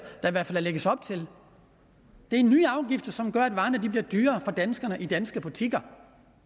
lægges op til det er nye afgifter som gør at varerne bliver dyrere for danskerne i danske butikker